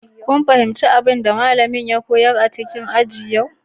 Kun fahimci abin da malamin ya koyar a cikin aji a yau?